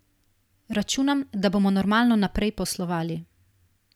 Računam, da bomo normalno naprej poslovali.